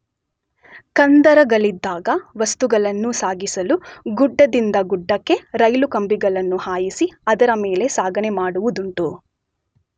ಕಂದರಗಳಿದ್ದಾಗ ವಸ್ತುಗಳನ್ನು ಸಾಗಿಸಲು ಗುಡ್ಡದಿಂದ ಗುಡ್ಡಕ್ಕೆ ರೈಲು ಕಂಬಿಗಳನ್ನು ಹಾಯಿಸಿ ಅದರ ಮೇಲೆ ಸಾಗಣೆ ಮಾಡುವುದುಂಟು.